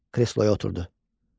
Kresloya oturdu.